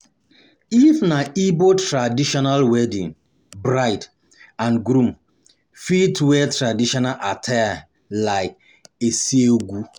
If na igbo traditional wedding bride and groom fit wera tradition attire attire like Isiagu